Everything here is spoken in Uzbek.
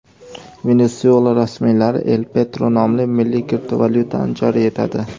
Venesuela rasmiylari El Petro nomli milliy kriptovalyutani joriy etadi.